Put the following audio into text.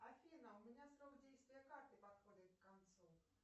афина у меня срок действия карты подходит к концу